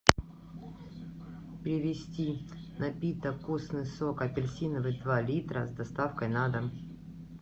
привезти напиток вкусный сок апельсиновый два литра с доставкой на дом